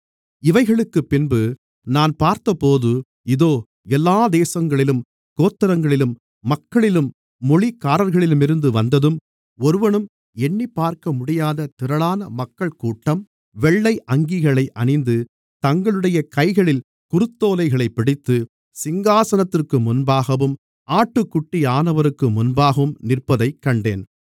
இவைகளுக்குப் பின்பு நான் பார்த்தபோது இதோ எல்லாத் தேசங்களிலும் கோத்திரங்களிலும் மக்களிலும் மொழிக்காரர்களிலுமிருந்து வந்ததும் ஒருவனும் எண்ணிப்பார்க்க முடியாத திரளான மக்கள்கூட்டம் வெள்ளை அங்கிகளை அணிந்து தங்களுடைய கைகளில் குருத்தோலைகளைப் பிடித்து சிங்காசனத்திற்கு முன்பாகவும் ஆட்டுக்குட்டியானவருக்கு முன்பாகவும் நிற்பதைக் கண்டேன்